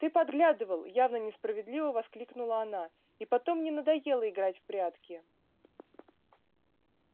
ты подглядывал явно несправедливо воскликнула она и потом мне надоело играть в прятки